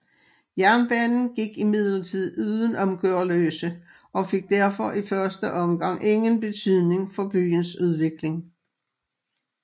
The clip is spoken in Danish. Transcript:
Jernbanen gik imidlertid uden om Gørløse og fik derfor i første omgang ingen betydning for byens udvikling